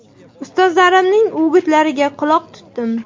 Ustozlarimning o‘gitlariga quloq tutdim.